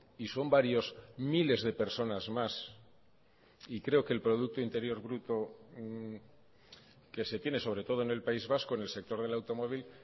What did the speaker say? y son varios miles de personas más y creo que el producto interior bruto que se tiene sobre todo en el país vasco en el sector del automóvil